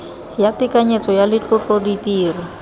ya tekanyetso ya letlotlo ditiro